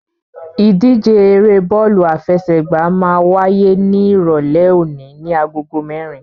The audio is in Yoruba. Ìdíje eré bọ́ọ̀lù àfẹsẹ̀gbá máa wáyé ní Ìrọ̀lẹ́ òní ní agogo mẹ́rin.